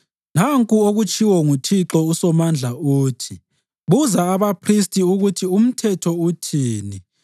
“Nanku okutshiwo nguThixo uSomandla uthi: ‘Buza abaphristi ukuthi umthetho uthini: